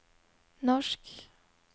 norsk